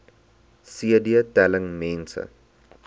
cd telling mense